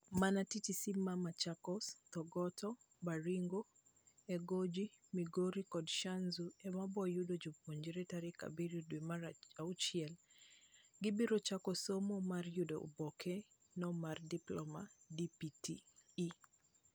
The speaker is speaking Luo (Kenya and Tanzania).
Mana TTC ma machakos, Thogoto, Baringo, Egoji, Migori kod Shanzu ema boyudo joponjre tarik ario dwe mar auchiel. Gibiro chako somo mar yudo oboke no mar diploma(DPTE).